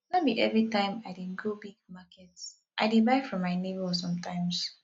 no be everytime i dey go big supermarket i dey buy from my nebor sometimes